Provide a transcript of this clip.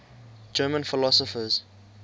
german philosophers